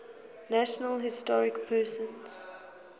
national historic persons